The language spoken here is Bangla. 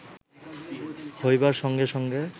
হইবার সঙ্গে সঙ্গে